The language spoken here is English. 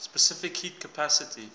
specific heat capacity